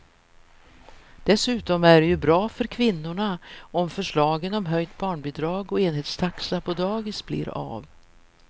Dessutom är det ju bra för kvinnorna om förslagen om höjt barnbidrag och enhetstaxa på dagis blir av.